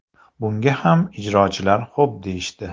Bunga ham ijrochilar xo‘p deyishdi.